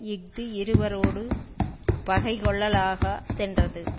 இஃது இருவரோடு பகை கொள்ளலாகா தென்றது